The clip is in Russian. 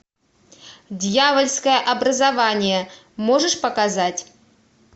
дьявольское образование можешь показать